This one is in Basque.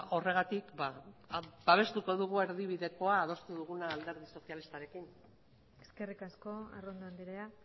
horregatik babestuko dugu erdibidekoa adostu duguna alderdi sozialistarekin eskerrik asko arrondo andrea